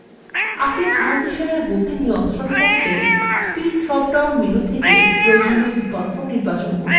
আপনি ট্রানসিসানএর গতি নিয়ন্ত্রণ করতে speed drop down menu থেকে বিকল্প নির্বাচন করে পারেন